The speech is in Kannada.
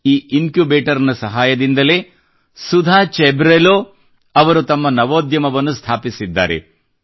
ಈ ಇನ್ಕ್ಯುಬೇಟರ್ ನ ಸಹಾಯದಿಂದಲೇ ಸುಧಾ ಚೆಬ್ರೋಲೂ ಅವರು ತಮ್ಮ ನವೋದ್ಯಮವನ್ನು ಸ್ಥಾಪಿಸಿದ್ದಾರೆ